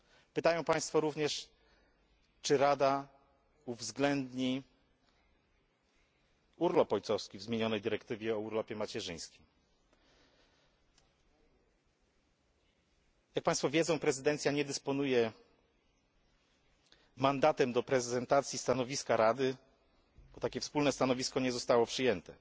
Pytają Państwo również, czy Rada uwzględni urlop ojcowski w zmienionej dyrektywie o urlopie macierzyńskim? Jak Państwo wiedzą prezydencja nie dysponuje mandatem do prezentacji stanowiska Rady, bo takie wspólne stanowisko nie zostało przyjęte,